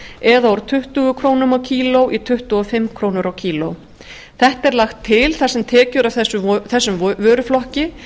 eða úr tuttugu krónur á kíló í tuttugu og fimm krónur á kíló þetta er lagt til þar sem tekjur af þessum vöruflokki